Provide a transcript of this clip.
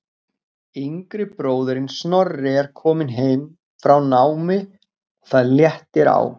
Yngri bróðirinn Snorri er kominn heim frá námi og það léttir á.